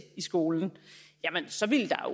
i skolen så ville der